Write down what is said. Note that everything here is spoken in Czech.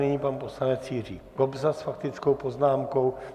Nyní pan poslanec Jiří Kobza s faktickou poznámkou.